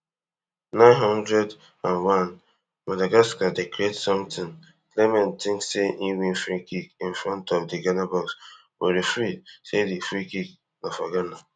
nine hundred and onemadagascar dey create sometin clement tink say im win freekick in front of di ghana box but referee say di freekick na for ghana